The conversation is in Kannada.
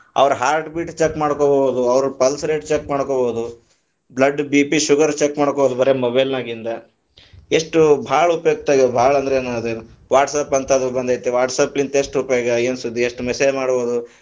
ಅವ್ರ heart beat check ಮಾಡ್ಕೊಬಹುದು, ಅವ್ರ pulse rate check ಮಾಡ್ಕೊಬಹುದು, blood BP sugar check ಮಾಡ್ಕೊಬಹುದು ಬರೆ mobile ನಾಗಿಂದ, ಎಷ್ಟು ಬಾಳ ಉಪಯುಕ್ತ ಆಗ್ಯದೆ, ಬಾಳ ಅಂದ್ರ ಬಾಳ ಅಂದ್ರ ಅದೇನ್ WhatsApp ಅಂತ ಅದು ಬಂದೇತಿ WhatsApp ಲಿಂದ ಏನ್ ಉಪಯೋಗ ಯೇನ ಸುದ್ದಿ, ಎಷ್ಟ message ಮಾಡಬಹುದು.